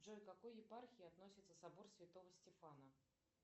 джой к какой епархии относится собор святого стефана